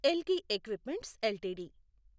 Elgi equipments LTD